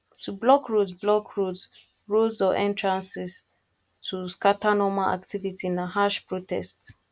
to blockroads blockroads roads or entrances to scatter normal activity na harsh protest